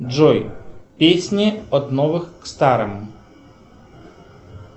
джой песни от новых к старым